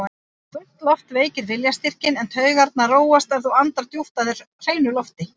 Þung loft veikir viljastyrkinn, en taugarnar róast ef þú andar djúpt að þér hreinu lofti.